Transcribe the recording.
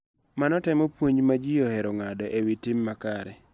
Mano temo puonj ma ji ohero ng�ado e wi tim makare.